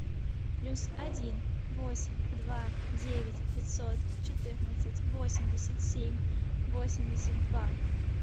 плюс один восемь два девять пятьсот четырнадцать восемьдесят семь восемьдесят два